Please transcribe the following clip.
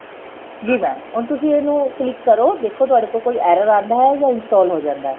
ਜੀ mam ਹੁਣ ਤੁਸੀਂ ਇਹਨੂੰ click ਕਰੋ ਦੇਖੋ ਤੁਹਾਡੇ ਕੋਲ ਕੋਈ error ਆਂਦਾ ਏ ਜਾਂ install ਹੋ ਜਾਂਦਾ ਹੈ